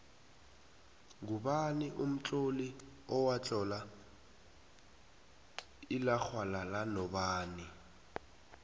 ngubani umtloli owatlola ilaxhwalala nobani